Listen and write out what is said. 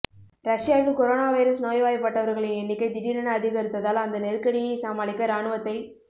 ரஷ்யாவில் corona virus நோய்வாய்பட்டவர்களின் எண்ணிக்கை திடீரென அதிகரித்ததால் அந்த நெருக்கடியைச் சமாளிக்க இராணுவத்தைப்